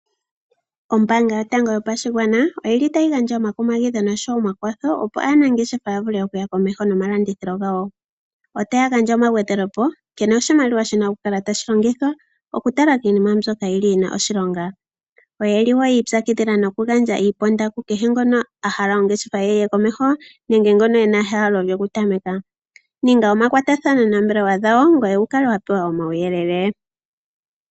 Ombaanga yotango yopashigwana oyili tayi gandja omakumagidho nosho wo omakwatho opo aanangeshefa ya vule okuya komeho nomalandithilo gawo. Otaya gandja omagwedhelepo nkene oshimaliwa shi na okukala tashi longithwa okutala kiinima mbyoka yi li yi na oshilonga. Oye li wo yiipyakidhila nokugandja iiponda kukehe ngono a hala ongeshefa ye yi ye komeho nenge ngono ena ehalo lyokutameka. Ninga omakwatathano noombelewa dhawo ngoye wu kale wa pewa omauyelele.